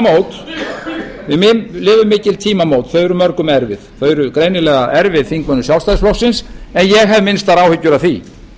létt við lifum mikil tímamót þau eru mörgum erfið þau eru greinilega erfið þingmönnum sjálfstæðisflokksins en ég hef minnstar áhyggjur af því